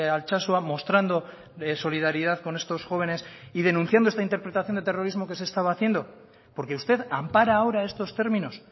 altsasua mostrando de solidaridad con estos jóvenes y denunciando esta interpretación de terrorismo que se estaba haciendo porque usted ampara ahora estos términos